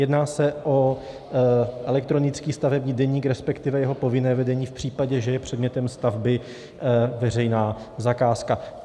Jedná se o elektronický stavební deník, respektive jeho povinné vedení v případě, že je předmětem stavby veřejná zakázka.